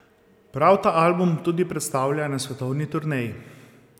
Prav ta album tudi predstavlja na svetovni turneji.